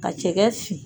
Ka cɛkɛ fin